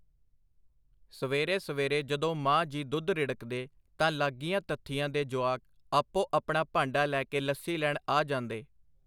ਸਵੇਰੇ ਸਵੇਰੇ ਜਦੋਂ ਮਾਂ ਜੀ ਦੁੱਧ ਰਿੜਕਦੇ ਤਾਂ ਲਾਗੀਆਂ ਤੱਥੀਆਂ ਦੇ ਜੁਆਕ ਆਪੋ ਆਪਣਾ ਭਾਂਡਾ ਲੈ ਕੇ ਲੱਸੀ ਲੈਣ ਆ ਜਾਂਦੇ.